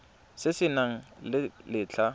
se se nang le letlha